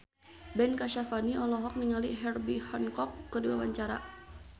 Ben Kasyafani olohok ningali Herbie Hancock keur diwawancara